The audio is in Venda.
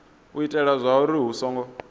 u itela zwauri hu songo